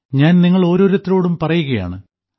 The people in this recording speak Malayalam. ഞാൻ നിങ്ങളോരോരുത്തരോടും പറയുകയാണ്